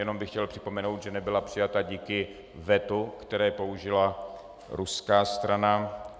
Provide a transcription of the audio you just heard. Jenom bych chtěl připomenout, že nebyla přijata díky vetu, které použila ruská strana.